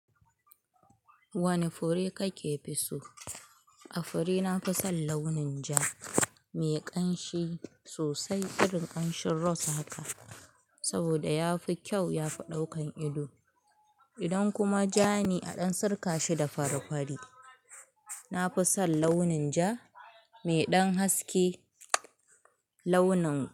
Wane fure kake fi so? A fure nafi son launin ja, mai ƙanshi sosai irin ƙanshin rose haka. Saboda yafi kyau, yafi ɗaukan ido. Idan kuma ja ne aɗan sirka shi da farifari. Nafison launin ja, mai ɗan haske launin.